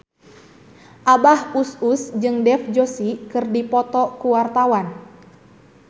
Abah Us Us jeung Dev Joshi keur dipoto ku wartawan